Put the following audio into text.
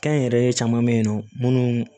Kɛnyɛrɛye caman bɛ yen nɔ minnu